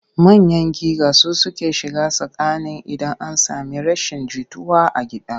Manyan giga su suke shiga tsakani idan an sami rashin jituwa a gida.